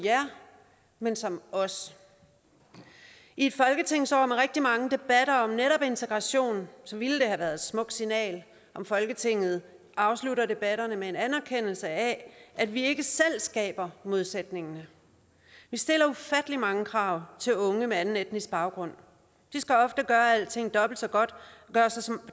men som os i et folketingsår med rigtig mange debatter om netop integration ville det have været et smukt signal at folketinget afsluttede debatterne med en anerkendelse af at vi ikke selv skaber modsætningen vi stiller ufattelig mange krav til unge med anden etnisk baggrund de skal ofte gøre alting dobbelt så godt og gøre sig sig